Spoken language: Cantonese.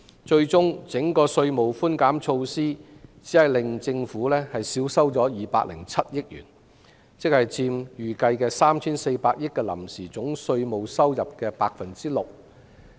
最終整個稅務寬減措施只令政府少收約207億元，佔預計的 3,400 億元臨時總稅務收入的 6%。